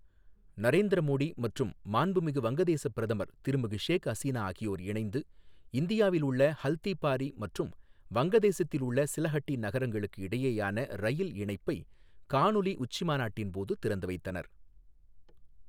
நரேந்திர மோடி மற்றும் மாண்புமிகு வங்கதேசப் பிரதமர் திருமிகு ஷேக் ஹசீனா ஆகியோர் இணைந்து இந்தியாவில் உள்ள ஹல்திபாரி மற்றும் வங்கதேசத்தில் உள்ள சிலஹட்டி நகரங்களுக்கு இடையேயான ரயில் இணைப்பை காணொலி உச்சி மாநாட்டின் போது திறந்து வைத்தனர்.